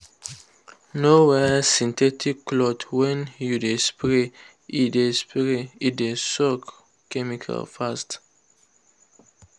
no wear synthetic cloth when you dey spray—e dey spray—e dey soak chemical fast.